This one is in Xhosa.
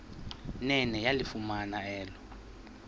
nene yalifumana elo